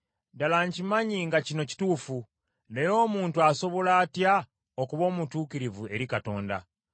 “Ddala nkimanyi nga kino kituufu. Naye omuntu asobola atya okuba omutuukirivu eri Katonda?